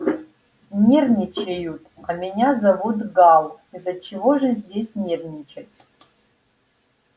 нервничают а меня зовут гал из-за чего же здесь нервничать